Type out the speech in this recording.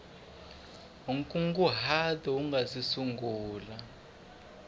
nkunguhato u nga si sungula